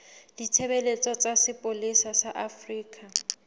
ditshebeletso tsa sepolesa sa afrika